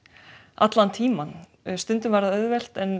allan tímann stundum var það auðvelt